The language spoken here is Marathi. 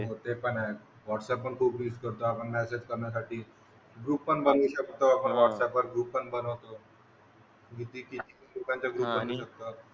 हो ते पण आहे. व्हाट्सअप पण खूप करतो आपण मॅसेज करण्यासाठी. ग्रुप पण बनवू शकतो आपण व्हाट्सअपवर ग्रुप पण बनवतो. किती किती लोकांचा ग्रुप बनवू शकतो आपण.